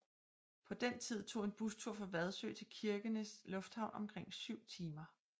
På den tid tog en bustur fra Vadsø til Kirkenes Lufthavn omkring syv timer